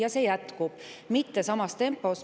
See jätkub, mitte küll samas tempos.